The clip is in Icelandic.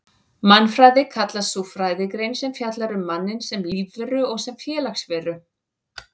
Mannfræði kallast sú fræðigrein sem fjallar um manninn sem lífveru og sem félagsveru.